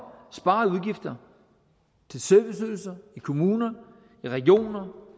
sparede udgifter til serviceydelser i kommuner i regioner